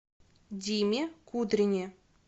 диме кудрине